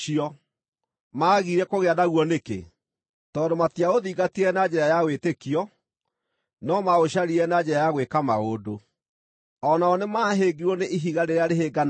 Maagire kũgĩa naguo nĩkĩ? Tondũ matiaũthiingatire na njĩra ya wĩtĩkio, no maũcaririe na njĩra ya gwĩka maũndũ. O nao nĩmahĩngirwo nĩ “ihiga rĩrĩa rĩhĩnganaga”.